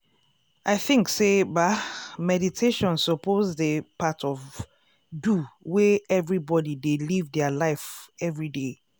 i thinks say ba meditation suppose dey part of do way everbody dey live dia life everyday.